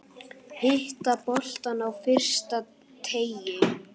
Hitta boltann á fyrsta teig.